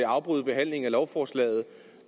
afbryde behandlingen af lovforslaget